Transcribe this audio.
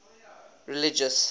religious